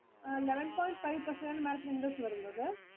Eleven point five percent ആണ് Madam ത്തിനു interest വരുന്നത്.